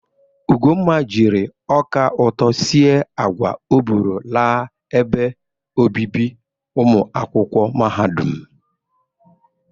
Ugonma jiri ọka ụtọ sie agwa o bụrụ laa ebe obibi ụmụakwụkwọ mahadum.